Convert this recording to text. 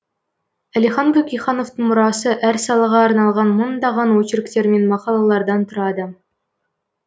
әлихан бөкейхановтың мұрасы әр салаға арналған мыңдаған очерктер мен мақалалардан тұрады